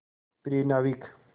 प्रिय नाविक